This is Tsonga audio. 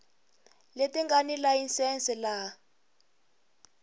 leti nga ni layisense laha